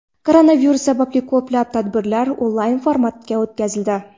Koronavirus sababli ko‘plab tadbirlar onlayn formatda o‘tkazildi.